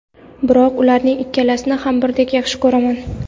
Biroq ularning ikkalasini ham birdek yaxshi ko‘raman.